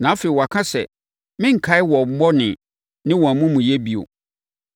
Na afei waka sɛ, “Merenkae wɔn bɔne ne wɔn amumuyɛ bio.”